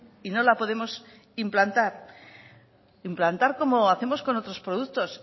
y no la podemos implantar implantar como hacemos con otros productos